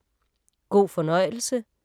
God fornøjelse